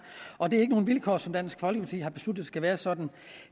og det er ikke nogle vilkår som dansk folkeparti har besluttet skal være sådan